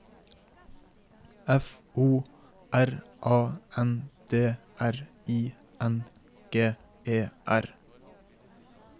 F O R A N D R I N G E R